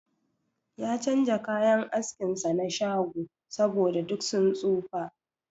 Ya chanja kayan askin sa na shago, saboda duk sun tsofa.